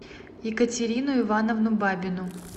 екатерину ивановну бабину